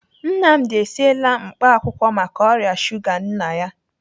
Nnamdi esiela mkpaakwụkwọ maka ọrịa shuga nna ya.